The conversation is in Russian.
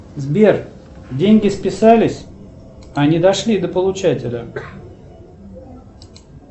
сбер деньги списались а не дошли до получателя